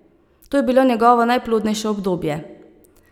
To je bilo njegovo najplodnejše obdobje.